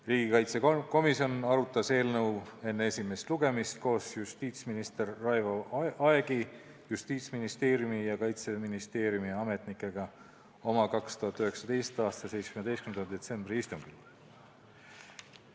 Riigikaitsekomisjon arutas eelnõu enne esimest lugemist koos justiitsminister Raivo Aegiga ning Justiitsministeeriumi ja Kaitseministeeriumi ametnikega 2019. aasta 17. detsembri istungil.